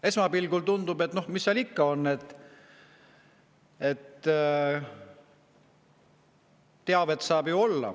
Esmapilgul tundub, et noh, mis seal siis ikka.